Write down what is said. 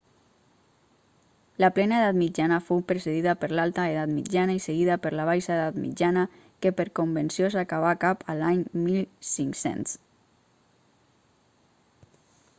la plena edat mitjana fou precedida per l'alta edat mitjana i seguida per la baixa edat mitjana que per convenció s'acabà cap a l'any 1500